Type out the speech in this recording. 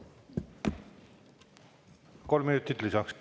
Kolm minutit lisaks.